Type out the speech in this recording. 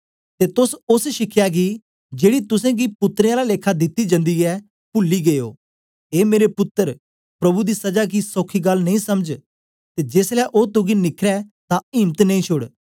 ते तोस ओस शिखया गी जेड़ी तुसेंगी पुत्रें आला लेखा दिती जन्दी ऐ पूली गै ओ ए मेरे पुत्तर प्रभु दी सजा गी सौखी गल्ल नेई समझ ते जेसलै ओ तुगी निखरै तां इम्त नेई छोड़